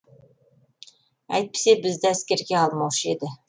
әйтпесе бізді әскерге алмаушы еді